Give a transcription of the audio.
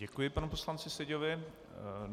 Děkuji panu poslanci Seďovi.